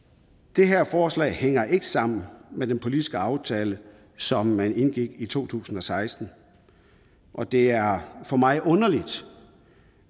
det her forslag hænger ikke sammen med den politiske aftale som man indgik i to tusind og seksten og det er for mig underligt